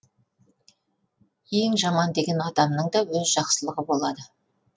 ең жаман деген адамның да өз жақсылығы болады